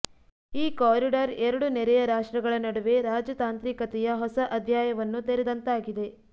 ಈ ಕಾರಿಡಾರ್ ಎರಡು ನೆರೆಯ ರಾಷ್ಟ್ರಗಳ ನಡುವೆ ರಾಜತಾಂತ್ರಿಕತೆಯ ಹೊಸ ಅಧ್ಯಾಯವನ್ನು ತೆರೆದಂತಾಗಿದೆ